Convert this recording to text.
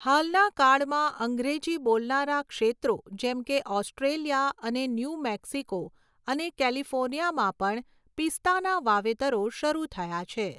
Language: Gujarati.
હાલના કાળમાં અંગ્રેજી બોલનારા ક્ષેત્રો જેમકે ઓસ્ટ્રેલિયા અને ન્યુ મેક્સિકો અને કેલિફોર્નિયામાં પણ પિસ્તાના વાવેતરો શરૂ થયા છે.